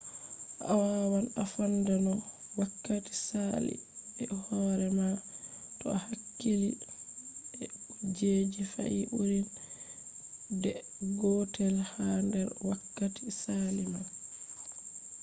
a wawan a fonda no wakkati sali be hore ma to a hakkili be kujeji fe’i ɓurin de gotel ha nder wakkati sali man